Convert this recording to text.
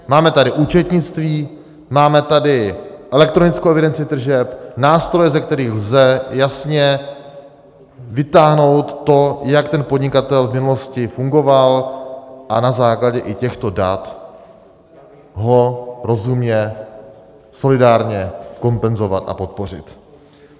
Máme tady účetnictví, máme tady elektronickou evidenci tržeb, nástroje, ze kterých lze jasně vytáhnout to, jak ten podnikatel v minulosti fungoval, a na základě i těchto dat ho rozumně, solidárně kompenzovat a podpořit.